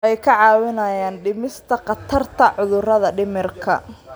Waxay kaa caawinayaan dhimista khatarta cudurrada dhimirka.